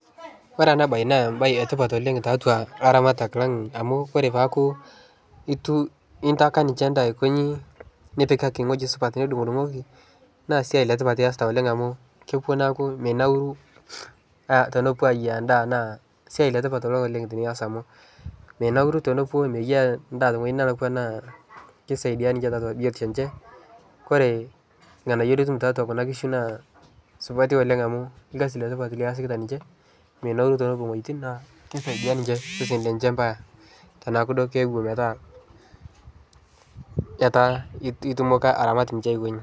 Ore enabaye naa embaye etipat oleng' tatua laramatak lang' amu kore paaku itu intaka ninche ndaa aikonyi nipikaki nkujit supat nidung'udung'oki naa siai letipat iasita oleng' amu kepuo neaku minauru ah tenepuo ayiou endaa naa siai letipat oleng' tinias amu minauru tenepuo eyiaya endaa tewuei nelakua naa keisaidia tata ninche biotisho enche. Kore ilng'anayio litum tiatua kuna kishu naa supati oleng' amu ilkasi letipat liasikita ninche minauru tenepuo wueitin naa keisaidia ninche seseni lenche paa teneaku duo keepuo metaa etaa itumoki aramat ninche aiko inji.